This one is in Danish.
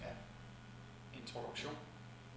introduktion